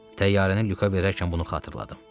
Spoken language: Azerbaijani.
Təyyarəni Lüka verərkən bunu xatırladım.